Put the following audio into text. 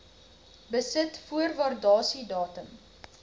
besit voor waardasiedatum